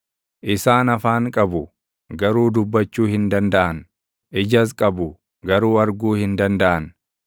Isaan afaan qabu; garuu dubbachuu hin dandaʼan; ijas qabu; garuu arguu hin dandaʼan;